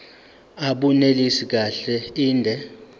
abunelisi kahle inde